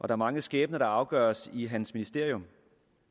er mange skæbner der afgøres i hans ministerium